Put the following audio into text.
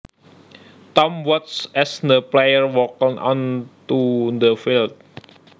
Tom watched as the players walked on to the field